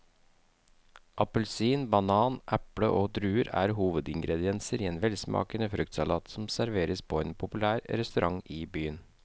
Appelsin, banan, eple og druer er hovedingredienser i en velsmakende fruktsalat som serveres på en populær restaurant i byen.